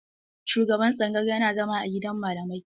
Shugaban tsangayar yana zama a gidan malamai.